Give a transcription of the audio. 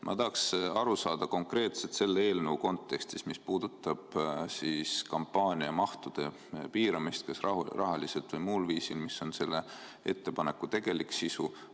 Ma tahaks aru saada konkreetselt selle eelnõu kontekstis, mis puudutab kampaaniamahtude piiramist kas rahaliselt või muul viisil, mis on selle ettepaneku tegelik sisu.